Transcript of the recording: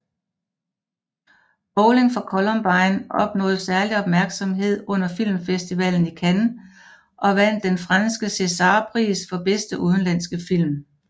Bowling for Columbine opnåede særlig opmærksomhed under filmfestivalen i Cannes og vandt den franske Césarpris for bedste udenlandske film